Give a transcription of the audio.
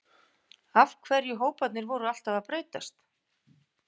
Af hverju hóparnir voru alltaf að breytast?